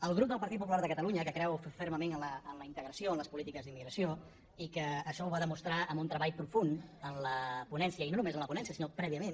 el grup del partit popular de catalunya que creu fermament en la integració en les polítiques d’immigració i que això ho va demostrar amb un treball profund en la ponència i no només en la ponència sinó prèviament